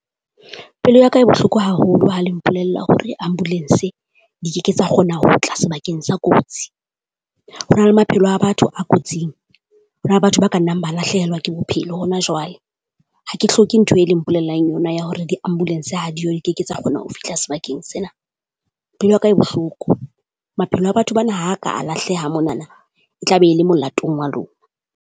Pelo ya ka e bohloko haholo ha le mpolella hore ambulance di keke tsa kgona ho tla sebakeng sa kotsi. Ho na le maphelo a batho a kotsing. Ho na le batho ba ka nnang ba lahlehelwa ke bophelo hona jwale. Ha ke hloke ntho e leng mpolellang yona ya hore di-ambulance ha diyo di keke tsa kgona ho fihla sebakeng sena. Pelo ya ka e bohloko, maphelo a batho bana ha ka a lahleha monana, e tla be e le molatong wa lona.